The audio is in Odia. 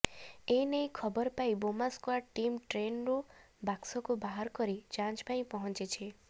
ଏନେଇ ଖବର ପାଇ ବୋମା ସ୍କ୍ୱାଡ୍ ଟିମ୍ ଟ୍ରେନରୁ ବାକ୍ସକୁ ବାହାର କରି ଯାଞ୍ଚ ପାଇଁ ପହଂଚିଛି